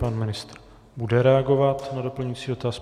Pan ministr bude reagovat na doplňující dotaz.